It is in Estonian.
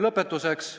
Lõpetuseks.